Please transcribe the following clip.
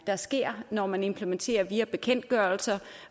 der sker når man implementerer via bekendtgørelser